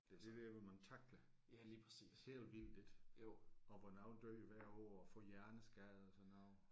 Det er det der hvor man tackler helt vildt ik. Og hvor nogen dør hver år og får hjerneskader og sådan noget